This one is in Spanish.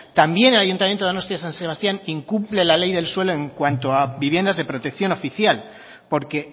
también el ayuntamiento de donostia san sebastián incumple la ley del suelo en cuanto a viviendas de protección oficial porque